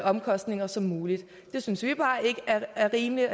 omkostninger som muligt det synes vi bare ikke er rimeligt